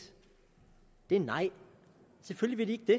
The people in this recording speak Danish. det er nej selvfølgelig vil